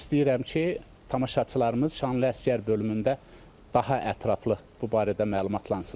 İstəyirəm ki, tamaşaçılarımız "Şanlı əsgər" bölümündə daha ətraflı bu barədə məlumatlansınlar.